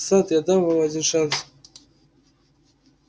сатт я дам вам один шанс